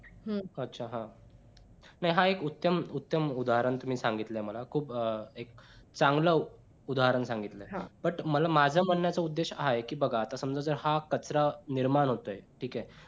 हम्म हा उत्तम उत्तम उदाहरण तुम्ही सांगितलं मला अं चांगलं उदाहरण सांगितलं हा but माझ्या म्हणायचा उद्देश हा आहे कि बघा आता समजा हा कचरा निर्माण होतोय ठीक आहे